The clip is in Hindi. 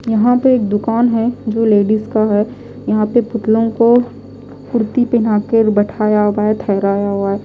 यहां पे एक दुकान है जो लेडीज का है यहां पे पुतलों को कुर्ती पहना के बैठाया हुआ है थहराया हुआ है।